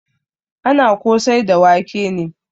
Ana kosai da wake ne.